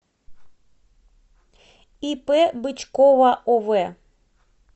ип бычкова ов